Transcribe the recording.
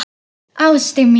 Ástin mín!